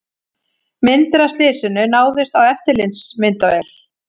Myndir af slysinu náðust á eftirlitsmyndavél